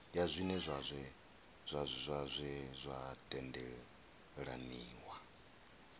zwiṅwe zwa zwe zwa tendelaniwa